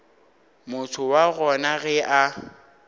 motho wa gona ge a